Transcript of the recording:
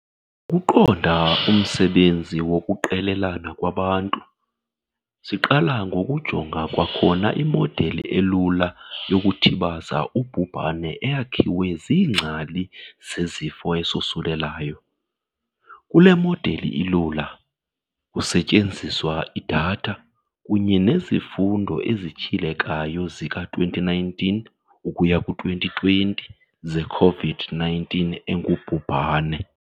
Ukuqonda umsebenzi wokuqelelana kwabantu, siqala ngokujonga kwakhona imodeli elula yokuthibaza ubhubhane eyakhiwe ziingcali zesifo esosulelayo. Kule modeli ilula, kusetyenziswa idatha kunye nezifundo ezityhilekayo zika-2019 ukuya ku-2020 ze-Covid-19 engubhubhane.